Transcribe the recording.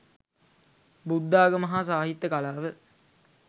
බුද්ධාගම හා සාහිත්‍ය කලාව